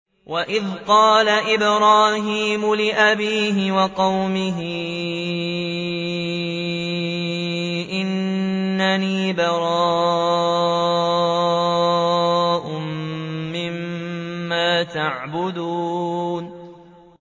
وَإِذْ قَالَ إِبْرَاهِيمُ لِأَبِيهِ وَقَوْمِهِ إِنَّنِي بَرَاءٌ مِّمَّا تَعْبُدُونَ